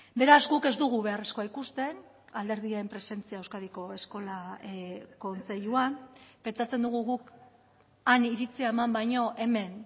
beraz guk ez dugu beharrezkoa ikusten alderdien presentzia euskadiko eskola kontseiluan pentsatzen dugu guk han iritzia eman baino hemen